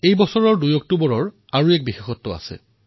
এই বৰ্ষৰ ২ অক্টোবৰৰ দিনটোৰ এক বিশেষ গুৰুত্ব আছে